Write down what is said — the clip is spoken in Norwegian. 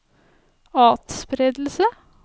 atspredelse